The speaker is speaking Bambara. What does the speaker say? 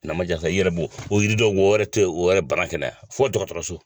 Na ma ja i yɛrɛ bo o yiri dɔ bɔ oywɛrɛ tɛ o bana kɛnɛya fo tɔgɔ dɔgɔtɔrɔso